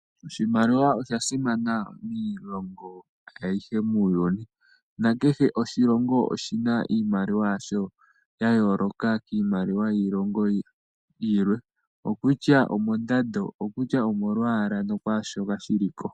Iimaliwa oya simana miilongo ayihe muuyuni, na kehe oshilongo oshi na iimaliwa yasho ya yooloka kiimaliwa yiilongo yilwe. Okutya omondando, okutya omolwaala no kwaashoka shiliko.